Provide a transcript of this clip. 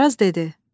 Varaz dedi: